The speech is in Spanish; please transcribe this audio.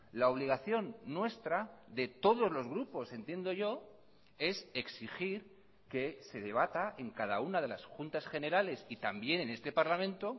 la obligación nuestra de todos los grupos entiendo yo es exigir que se debata en cada una de las juntas generales y también en este parlamento